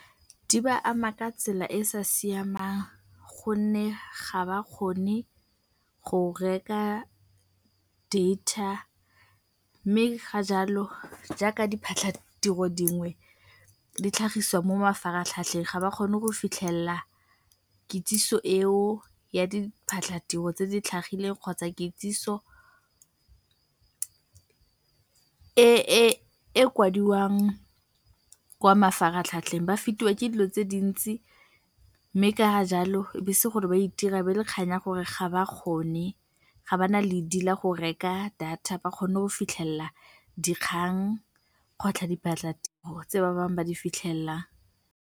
Di ba ama ka tsela e e sa siamang gonne ga ba kgone go reka data mme ka jalo jaaka diphatlhatiro dingwe di tlhagiswa mo mafaratlhatlheng, ga ba kgone go fitlhelela kitsiso eo ya diphatlhatiro tse di tlhagileng kgotsa kitsiso e kwadiwang kwa mafaratlhatlheng. Ba fetiwa ke dilo tse dintsi mme ka jalo e a bo e se gore ba a itira, e a bo e le kgang ya gore ga ba kgone, ga ba na ledi la go reka data ba kgone go fitlhelela dikgang kgotlha diphatlatiro tse ba bangwe ba di fitlhelelang.